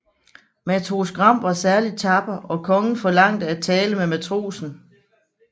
Matros Gram var særlig tapper og kongen forlangte at tale med matrosen